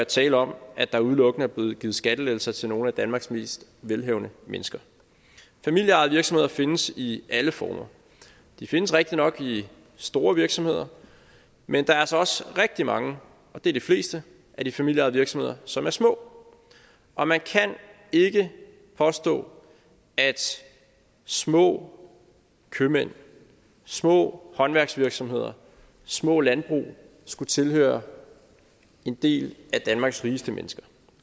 tale om at der udelukkende er blevet givet skattelettelser til nogle af danmarks mest velhavende mennesker familieejede virksomheder findes i alle former de findes rigtigt nok i store virksomheder men der er altså også rigtig mange og det er de fleste af de familieejede virksomheder som er små og man kan ikke påstå at små købmænd små håndværksvirksomheder små landbrug skulle tilhøre en del af danmarks rigeste mennesker